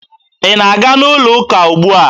Ị na-aga n'ụlọụka ugbu a?